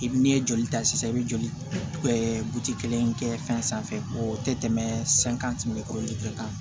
I n'i ye joli ta sisan i bɛ joli in kɛ fɛn sanfɛ o tɛ tɛmɛ santimɛtiri kɛ kan